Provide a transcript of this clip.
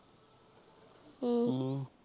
ਹਮ